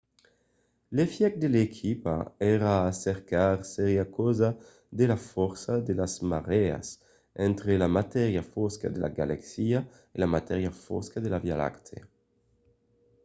l'efièch que l'equipa èra a cercar seriá causat per la fòrça de las marèas entre la matèria fosca de la galaxia e la matèria fosca de la via lactèa